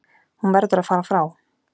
Hún verður að fara frá